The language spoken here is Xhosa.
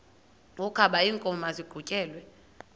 wokaba iinkomo maziqhutyelwe